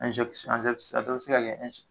a dɔw bɛ se ka kɛ